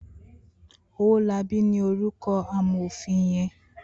Owolabi ni órúkò àmófin yèn